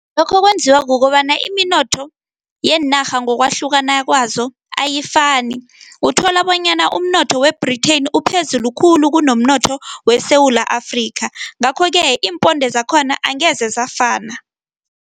Lokho kwenziwa kukobana iminotho yeenarha ngokwahlukana kwazo ayifani, uthola bonyana umnotho we-Britain uphezulu khulu kunomnotho weSewula Afrika, ngakho-ke iimponde zakhona angeze zafana.